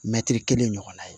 Mɛtiri kelen ɲɔgɔnna ye